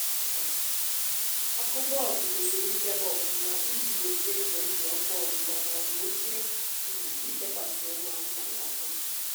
ọkụ bọlbụ kwesịrị idebe ọfụma iji gbochie ize ndụ ọkụ ọgbụgba maọbụ oke um ichekwasi ụmụ anụmanụ ọkụ